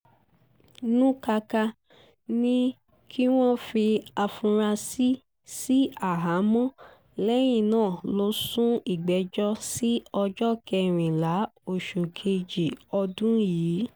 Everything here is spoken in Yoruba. nukáká ní kí wọ́n fi àfúrásì sí àhámọ́ lẹ́yìn náà lọ sún ìgbẹ́jọ́ sí ọjọ́ kẹrìnlá oṣù kejì ọdún yìí